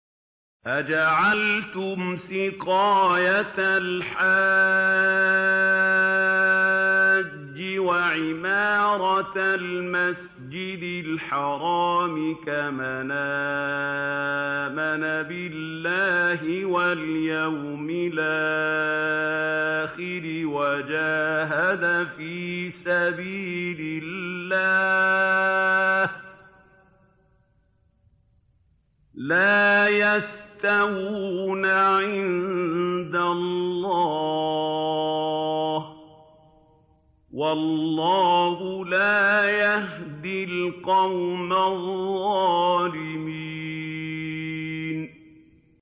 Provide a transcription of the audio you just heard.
۞ أَجَعَلْتُمْ سِقَايَةَ الْحَاجِّ وَعِمَارَةَ الْمَسْجِدِ الْحَرَامِ كَمَنْ آمَنَ بِاللَّهِ وَالْيَوْمِ الْآخِرِ وَجَاهَدَ فِي سَبِيلِ اللَّهِ ۚ لَا يَسْتَوُونَ عِندَ اللَّهِ ۗ وَاللَّهُ لَا يَهْدِي الْقَوْمَ الظَّالِمِينَ